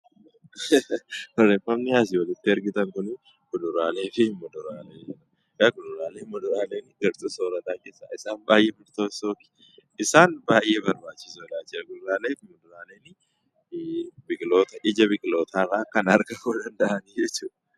Wanti asii olitti argitan kun fuduraalee fi kuduraalee garaagaraa kan gabaa keessatti gurguramanii fi dhala namaaf fayidaa guddaa qabanidha. Isaan kun ija biqilootaa irraa argamuu kan danda'anii jechuudha.